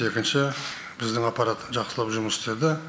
екінші біздің аппарат жақсылап жұмыс істеді